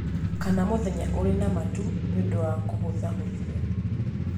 Kana mũthenya ũrĩ na matu nĩ ũndũ wa kũhũthahũthia.